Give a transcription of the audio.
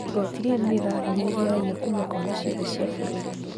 Igoti rĩrĩ nĩrĩrahinyĩrĩria raia kuma kona ciothe cia bũrũri